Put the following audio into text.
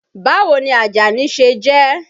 Báwo ni Àjàní ṣe jẹ́?